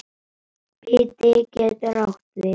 Biti getur átt við